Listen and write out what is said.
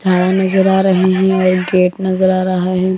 झाड़ां नजर आ रहे हैं और गेट नजर आ रहा है।